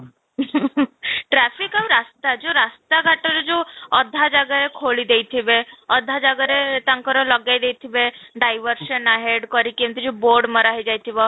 traffic ଆଉ ରାସ୍ତା ଯଉ ରାସ୍ତା ଘାଟରେ ଯଉ ଅଧା ଜାଗା ଖୋଳି ଦେଇଥିବେ, ଅଧା ଜାଗାରେ ତାଙ୍କର ଲଗେଇ ଦେଇଥିବେ diver zone head କରିକି ଏମିତି ଯଉ board ମରା ହେଇ ଯାଇଥିବ